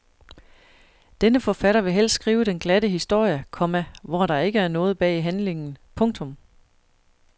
Denne forfatter vil helst skrive den glatte historie, komma hvor der ikke er noget bag handlingen. punktum